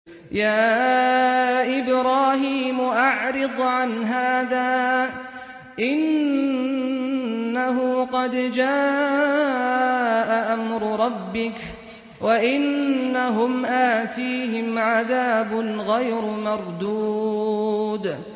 يَا إِبْرَاهِيمُ أَعْرِضْ عَنْ هَٰذَا ۖ إِنَّهُ قَدْ جَاءَ أَمْرُ رَبِّكَ ۖ وَإِنَّهُمْ آتِيهِمْ عَذَابٌ غَيْرُ مَرْدُودٍ